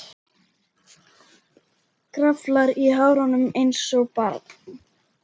Kraflar í hárunum einsog barn.